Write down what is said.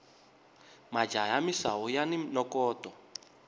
majaha ya misawu yani nokoto